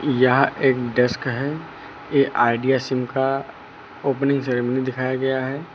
यह एक डेस्क है ये आइडिया सिम का ओपनिंग सेरिमनी दिखाया गया है।